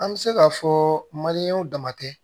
An bɛ se k'a fɔ damatɛ